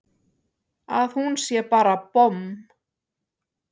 Að hún sé bara bomm!